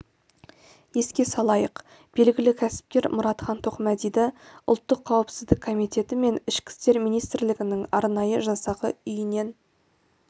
еске салайық белгілі кәсіпкер мұратхан тоқмәдиді ұлттық қауіпсіздік комитеті мен ішкі істер министрлігінің арнайы жасағы үйінен